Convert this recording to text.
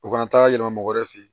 U kana taa yɛlɛma mɔgɔ yɛrɛ fe ye